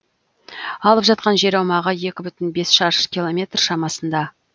алып жатқан жер аумағы екі бүтін бес шаршы километр шамасында